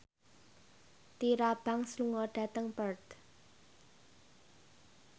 Tyra Banks lunga dhateng Perth